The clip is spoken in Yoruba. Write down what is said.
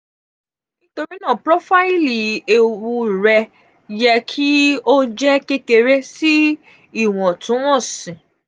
nitorinaa profaili ewu rẹ yẹ ki um o jẹ kekere si um iwọntunwọnsi.